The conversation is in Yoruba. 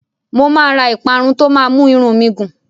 Mo máa ra ìparun tó máa mú irun mi gùn.